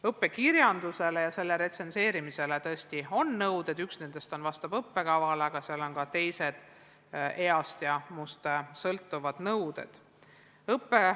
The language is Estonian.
Õppekirjandusele ja selle retsenseerimisele on tõesti kehtestatud nõuded, üks nendest vastab õppekavale, aga seal on ka teised, näiteks õpilase east ja muust sõltuvad nõuded.